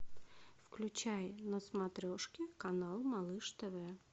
включай на смотрешке канал малыш тв